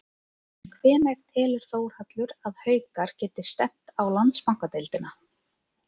En hvenær telur Þórhallur að Haukar geti stefnt á Landsbankadeildina?